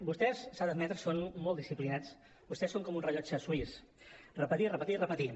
vostès s’ha d’admetre són molt disciplinats vostès són com un rellotge suís repetir repetir i repetir